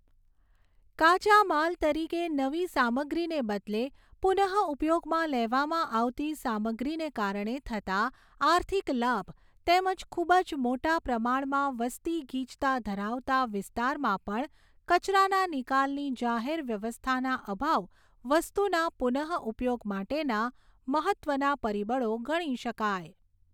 કાચા માલ તરીકે નવી સામગ્રીને બદલે પુનઃઉપયોગમાં લેવામાં આવતી સામગ્રીને કારણે થતા આર્થિક લાભ તેમજ ખૂબ જ મોટા પ્રમાણમાં વસતી ગીચતા ધરાવતા વિસ્તારમાં પણ કચરાના નિકાલની જાહેર વ્યવસ્થાના અભાવ વસ્તુના પુનઃઉપયોગ માટેના મહત્ત્વના પરિબળો ગણી શકાય.